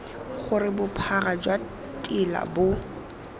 gore bophara jwa tela bo